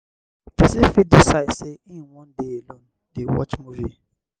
person fit decide sey im wan dey alone dey watch movie